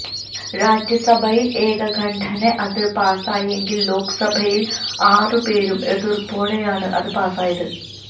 രാജ്യസഭയിൽ ഏകകണ്ഠേന അത് പാസായെങ്കിൽ ലോക്സഭയിൽ ആറ്പേരുടെ എതിർപ്പോടെയാണ് അത് പാസ്സായത്